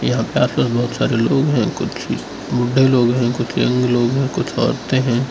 यहां पे पास पास बहोत सारे लोग है कुछ बुड्ढे लोग है कुछ यंग लोग हैं कुछ औरतें हैं।